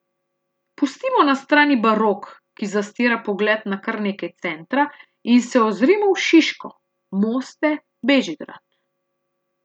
Pustimo na strani barok, ki zastira pogled na kar nekaj centra, in se ozrimo v Šiško, Moste, Bežigrad.